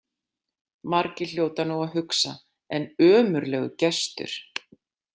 Margir hljóta nú að hugsa: En ömurlegur gestur.